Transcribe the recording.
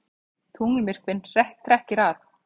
Tunglmyrkvinn trekkir að